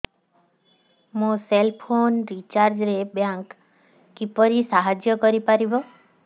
ମୋ cell phone recharge ରେ bank କିପରି ସାହାଯ୍ୟ କରିପାରିବ